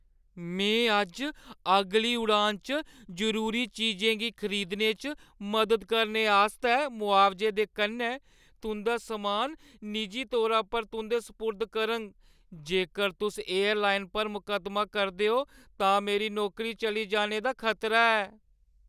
मैं अज्ज अगली उड़ान च जरूरी चीजें गी खरीदने च मदद करने आस्तै मुआवजे दे कन्नै तुंʼदा समान निजी तौरा पर तुंʼदे सपुर्द करङ। जेकर तुस एयरलाइन पर मकद्दमा करदे ओ, तां मेरी नौकरी चली जाने दा खतरा ऐ।